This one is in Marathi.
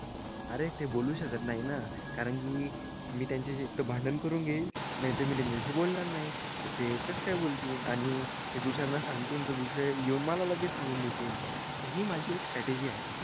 अरे ते बोलू शकत नाही ना. कारण की मी त्यांच्याशी इतकं भांडण करून घेईन. नाहीतर मी त्यांच्याशी बोलणार नाही. तर ते एकच काय बोलतील. आणि ते दुसऱ्यांना सांगतील तर दुसरे येऊन मला लगेच सांगून देतील. हि माझी एक स्ट्रॅटेजी आहे.